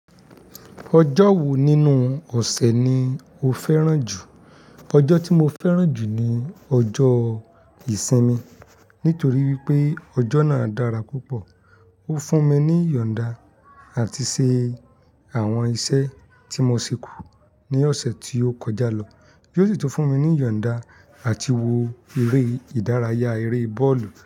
Ọjọ́ wo nínú ọ̀sẹ̀ ni o fẹ́ràn jù? Ọjọ́ tí mo fẹ́ràn jù ni ọjọ́ ìsinmi nítorí wípé ọjọ́ náà dára púpọ̀. Ó fún mi ní yọ̀nda àti ṣe àwọn iṣẹ́ tí mo ṣekú ní ọ̀sẹ̀ tí ó kọjá lọ. Bí ó sì tún fún mi ní yọ̀nda àti wo eré ìdárayá eré bọ́ọ̀lù.